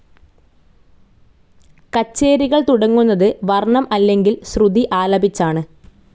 കച്ചേരികൾ തുടങ്ങുന്നത് വർണ്ണം അല്ലെങ്കിൽ ശ്രുതി ആലപിച്ചാണ്.